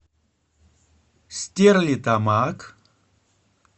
стерлитамак